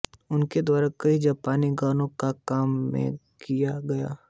उनके द्वारा कई पंजाबी गानों में काम किया गया